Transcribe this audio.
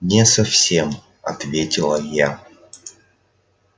не совсем ответила я